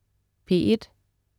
P1: